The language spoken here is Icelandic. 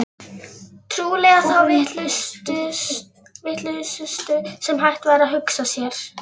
Trúlega þá vitlausustu sem hægt var að hugsa sér.